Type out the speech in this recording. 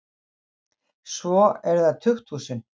Svo eru það tukthúsin.